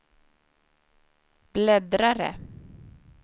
bläddrare